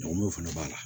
N'o fana b'a la